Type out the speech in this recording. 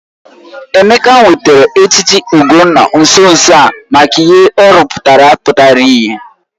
Emeka nwetara echichi Ugonna nso nso a maka ihe ọ rụpụtara pụtara ìhè.